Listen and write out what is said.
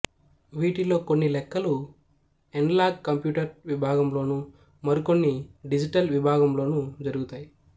వీటిలో కొన్ని లెక్కలు ఎన్లాగ్ కంప్యూటర్ విభాగంలోనూ మరికొన్ని డిజిటల్ విభాగంలోనూ జరుగుతాయి